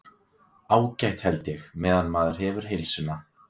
Ágætt held ég. meðan maður hefur heilsuna.